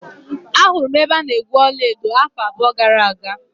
Ahụrụ m ebe a na-egwu ọla edo afọ abụọ gara aga.